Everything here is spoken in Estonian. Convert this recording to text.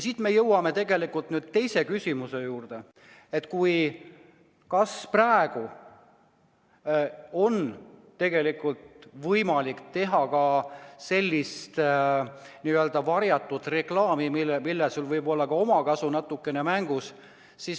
Siit me jõuame nüüd teise küsimuse juurde, et kas praegu on tegelikult võimalik teha sellist n-ö varjatud reklaami, mille korral sul võib olla ka natukene omakasu mängus.